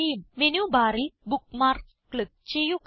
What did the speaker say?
menu ബാറിൽ bookmarks click ചെയ്യുക